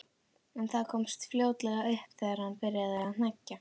En það komst fljótlega upp þegar hann byrjaði að hneggja.